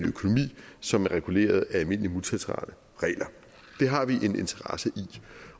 økonomi som er reguleret af almindelige multilaterale regler det har vi en interesse i